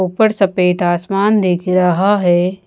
ऊपर सफ़ेद आसमान दिख रहा है।